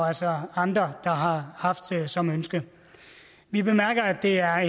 altså andre der har haft som ønske vi bemærker at det er